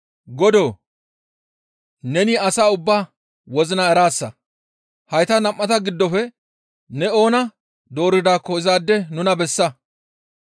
«Godoo! Neni asa ubbaa wozina eraasa; hayta nam7ata giddofe ne oona dooridaakko izaade nuna bessa.